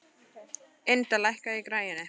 Ynda, lækkaðu í græjunum.